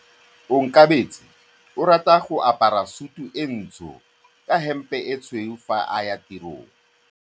Onkabetse o rata go apara sutu e ntsho ka hempe e tshweu fa a ya tirong.